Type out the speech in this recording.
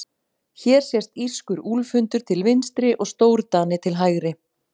Hér sést írskur úlfhundur til vinstri og stórdani til hægri.